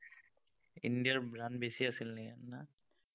India ৰ run বেছি আছিলে নেকি, না?